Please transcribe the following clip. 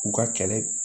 U ka kɛlɛ